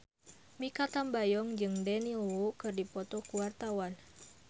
Mikha Tambayong jeung Daniel Wu keur dipoto ku wartawan